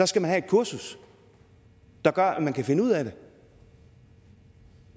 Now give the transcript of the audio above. skal man have et kursus der gør at man kan finde ud af det